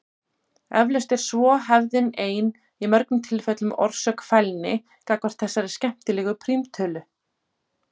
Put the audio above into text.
Eflaust er svo hefðin ein í mörgum tilfellum orsök fælni gagnvart þessari skemmtilegu prímtölu.